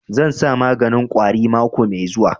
Zan sa maganin ƙwari mako mai zuwa